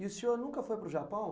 E o senhor nunca foi para o Japão?